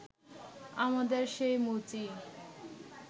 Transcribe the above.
আমাদের সেই মুচি